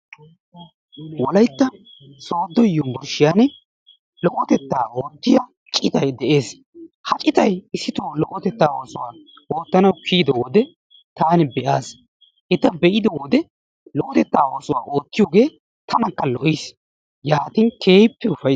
Wolaytta sodo yumburshiyan lo'otettaa oottiya citay de'es. Ha citay issitoo lo'otettaa oosuwa oottaanawu kiyido wode taani be'aas. Eta be'ido wode lo'otettaa oosuwa oottiyogee tanakka lo'iis. yaatin keehippe ufayittaas.